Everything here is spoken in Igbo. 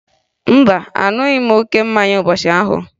Mba, aṅụghị m oke mmanya ụbọchị ahụ